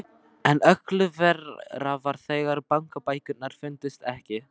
En öllu verra var þegar bankabækurnar fundust ekki.